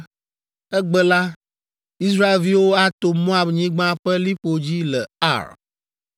‘Egbe la, Israelviwo ato Moab nyigba ƒe liƒo dzi le Ar,